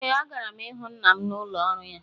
Ee, agara m ịhụ nna m n’ụlọ ọrụ ya